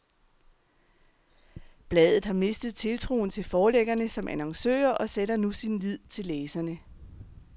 Bladet har mistet tiltroen til forlæggerne som annoncører og sætter nu sin lid til læserne.